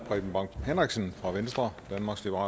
ressourcer